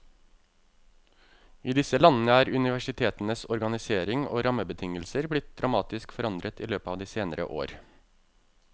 I disse landene er universitetenes organisering og rammebetingelser blitt dramatisk forandret i løpet av de senere år.